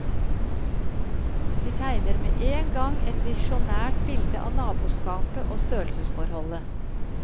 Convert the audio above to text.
De tegner med en gang et visjonært bilde av naboskapet og størrelsesforholdet.